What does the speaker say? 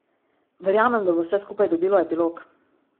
Verjamem, da bo vse skupaj dobilo epilog.